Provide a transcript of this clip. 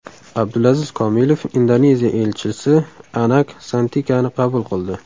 Abdulaziz Kamilov Indoneziya elchisi Anak Santikani qabul qildi.